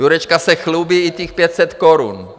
Jurečka se chlubí, i těch 500 korun.